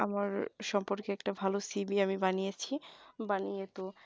আমার সম্পর্কে একটা ভালো CV আমি বানিয়েছি বানিয়ে তো